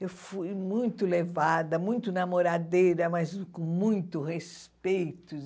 Eu fui muito levada, muito namoradeira, mas com muito respeito.